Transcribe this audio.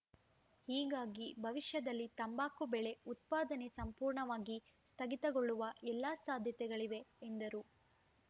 ಹೀಗಾಗಿ ಭವಿಷ್ಯದಲ್ಲಿ ತಂಬಾಕು ಬೆಳೆ ಉತ್ಪಾದನೆ ಸಂಪೂರ್ಣವಾಗಿ ಸ್ಥಗಿತಗೊಳ್ಳುವ ಎಲ್ಲ ಸಾಧ್ಯತೆಗಳಿವೆ ಎಂದರು